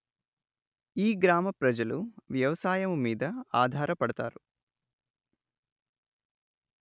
ఈ గ్రామ ప్రజలు వ్యవసాయము మీద అధార పడతారు